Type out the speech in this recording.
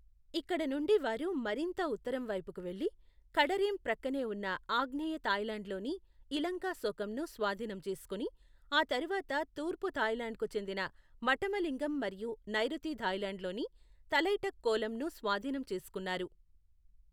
ఇక్కడ నుండి వారు మరింత ఉత్తరం వైపుకు వెళ్లి, కడరేం ప్రక్కనే ఉన్న ఆగ్నేయ థాయ్లాండ్లోని ఇలంకాశోకంను స్వాధీనం చేసుకుని, ఆ తర్వాత తూర్పు థాయ్లాండ్కు చెందిన మఠమలింగం మరియు నైరుతి థాయ్లాండ్లోని తలైటక్కోలమ్ను స్వాధీనం చేసుకున్నారు.